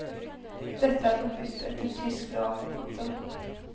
Dette er forbudt etter tysk lov. punktum